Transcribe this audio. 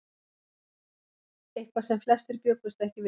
Eitthvað sem flestir bjuggust ekki við